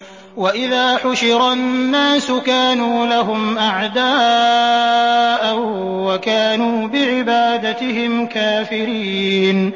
وَإِذَا حُشِرَ النَّاسُ كَانُوا لَهُمْ أَعْدَاءً وَكَانُوا بِعِبَادَتِهِمْ كَافِرِينَ